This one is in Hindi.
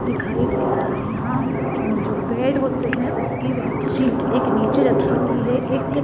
दिखाई दे रहा है यहाँ जो बेड होते हैं उसकी बेडशीट एक नीचे रखी हुई है एक --